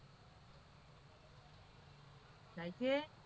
થાય છે.